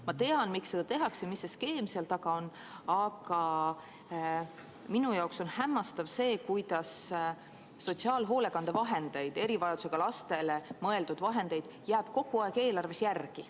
Ma tean, miks seda tehakse, mis skeem seal taga on, aga minu jaoks on hämmastav see, kuidas sotsiaalhoolekande vahendeid, erivajadusega lastele mõeldud vahendeid jääb kogu aeg eelarves järele.